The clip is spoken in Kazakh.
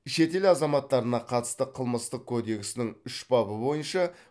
шетел азаматтарына қатысты қылмыстық кодексінің үш бабы бойынша